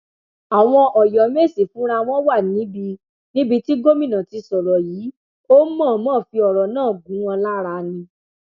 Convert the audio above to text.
àwọn ọyọmẹsì fúnra wọn wà níbi níbi tí gomina ti sọrọ yìí ò mọọnmọ fi ọrọ náà gún wọn lára ni